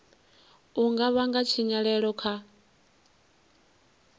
u nga vhanga tshinyalelo kha